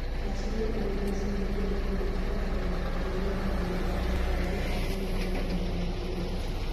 achije ang'wen osemaki gi obila ka itudogi gi nek ma oboth kod jokopo ma bandia mag jowuoth,